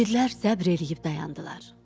İqidlərim səbr eləyib dayandılar.